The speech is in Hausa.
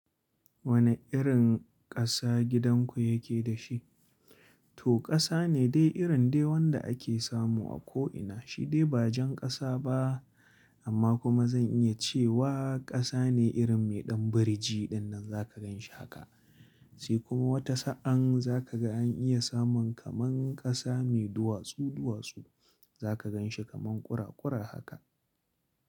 Wane irin ƙasa gidanku yake da shi? To ƙasa ne dai irin dai wanda ake samu a ko ina, shi dai ba jan ƙasa ba amma kuma zan iya cewa ƙasa ne irin mai ɗan biri ji ɗinnan za ka gan shi haka. Sai kuma wata sa'an za ka ga an iya samun kamar ƙasa mai duwatsu duwatsu za ka gan shi kaman kura kura haka.